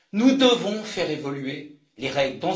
Nous devons faire évoluer les règles.